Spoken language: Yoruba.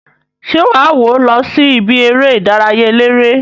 Se waa wo losi ibi ere idaraya elere?